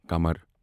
کمَر